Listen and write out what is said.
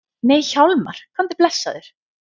Nei Hjálmar, komdu blessaður!